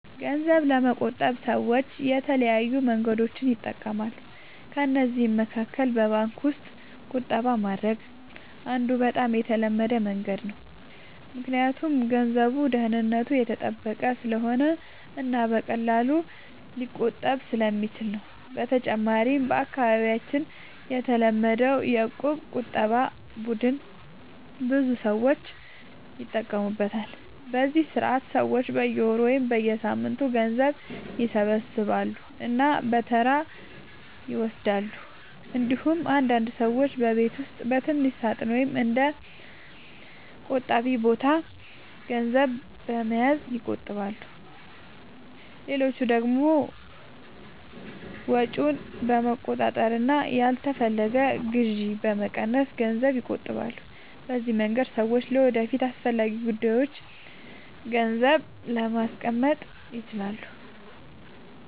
ገንዘብ ለመቆጠብ ሰዎች የተለያዩ መንገዶችን ይጠቀማሉ። ከእነዚህ መካከል በባንክ ውስጥ ቁጠባ ማድረግ አንዱ በጣም የተለመደ መንገድ ነው፣ ምክንያቱም ገንዘቡ ደህንነቱ የተጠበቀ ስለሆነ እና በቀላሉ ሊቆጠብ ስለሚችል ነው። በተጨማሪም በአካባቢያችን የተለመደው የእቁብ ቁጠባ ቡድን ብዙ ሰዎች ይጠቀሙበታል፤ በዚህ ስርዓት ሰዎች በየወሩ ወይም በየሳምንቱ ገንዘብ ይሰበስባሉ እና በተራ ይወስዳሉ። እንዲሁም አንዳንድ ሰዎች በቤት ውስጥ በትንሽ ሳጥን ወይም በእንደ “ቆጣቢ ቦታ” ገንዘብ በመያዝ ይቆጥባሉ። ሌሎች ደግሞ ወጪን በመቆጣጠር እና ያልተፈለገ ግዢ በመቀነስ ገንዘብ ይቆጥባሉ። በዚህ መንገድ ሰዎች ለወደፊት አስፈላጊ ጉዳዮች ገንዘብ ማስቀመጥ ይችላሉ።